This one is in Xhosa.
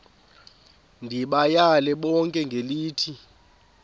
ndibayale bonke ngelithi